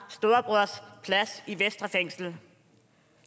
og plads i vestre fængsel